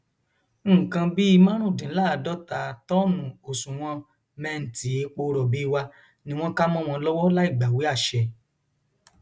nǹkan bíi márùndínláàádọta tọọnù òṣùwọn mẹǹtì epo rọbì wa ni wọn kà mọ wọn lọwọ láì gbàwé àṣẹ